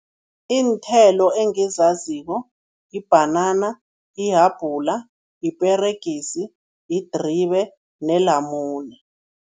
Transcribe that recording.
Iinthelo engizaziko, yibhanana, ihabhula, yiperegisi, yidribe nelamune.